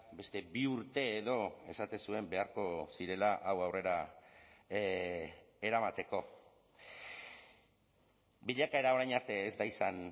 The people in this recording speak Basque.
beste bi urte edo esaten zuen beharko zirela hau aurrera eramateko bilakaera orain arte ez da izan